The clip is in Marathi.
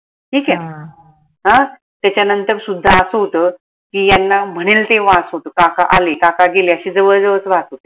ठीक आहे अं त्याच्या नंतर सुद्धा असं होत की यांना म्हणेल तेव्हा काका आले काका गेले असं जवळ जवळच राहत होते